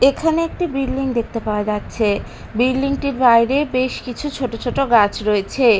এখানে একটি বিল্ডিং দেখতে পাওয়া যাচ্ছে বিল্ডিং -টির বাইরে বেশ কিছু ছোট ছোট গাছ রয়েছে।